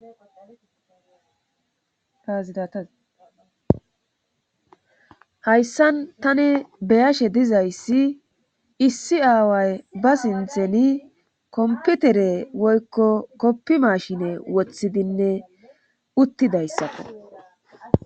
Azidata hayssan tani be7ashe dizayssi issi aaway ba sintheni komputere woykko koppi mashine wothidinne uttidayssako.